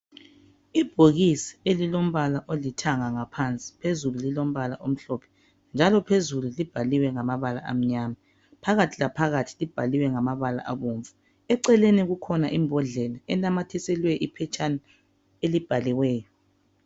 Ibhokisi elilombala olithanga ngaphansi phezulu lilombala omhlophe njalo phezulu libhaliwe ngamabala amnyama phakathi la phakathi libhaliwe ngamabala abomvu eceleni kukhona imbodlela enamathiselwe iphetshana elibhaliweyo.